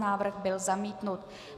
Návrh byl zamítnut.